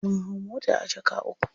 Mun hau mota a jaka uku.